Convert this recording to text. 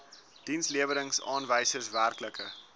dienslewerings aanwysers werklike